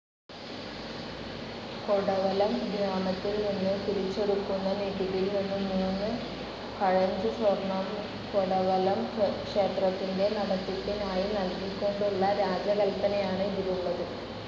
കൊടവലം ഗ്രാമത്തിൽ നിന്നു പിരിച്ചെടുക്കുന്ന നികുതിയിൽ നിന്ന് മൂന്ന് കഴഞ്ച് സ്വർണ്ണം കൊടവലം ക്ഷേത്രത്തിന്റെ നടത്തിപ്പിനായി നൽകിക്കൊണ്ടുള്ള രാജകൽപ്പനയാണ് ഇതിലുള്ളത്.